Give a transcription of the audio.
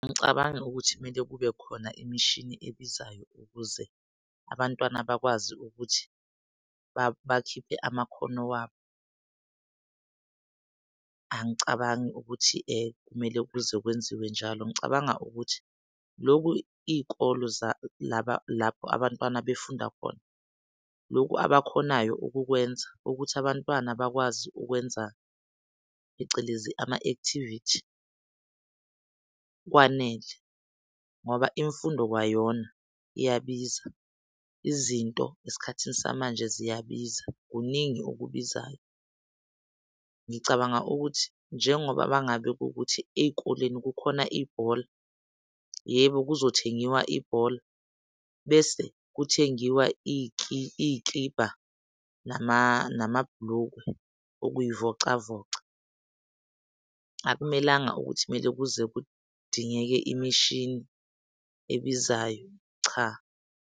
Angicabangi ukuthi kumele kube khona imishini ebizayo ukuze abantwana bakwazi ukuthi bakhiphe amakhono wabo. Angicabangi ukuthi kumele kuze kwenziwe njalo. Ngicabanga ukuthi loku iy'kolo lapho abantwana befunda khona, loku abakhonayo ukukwenza ukuthi abantwana bakwazi ukwenza phecelezi ama-activity kwanele ngoba imfundo kwayona iyabiza. Izinto esikhathini samanje ziyabiza. kuningi okubizayo. Ngicabanga ukuthi njengoba mangabe kuwukuthi ey'koleni kukhona ibhola, yebo, kuyothengiwa ibhola bese kuthengiwa iy'kibha nama namabhulukwe ukuyivocavoca. Akumelanga ukuthi mele kuze kudingeke imishini ebizayo. Cha.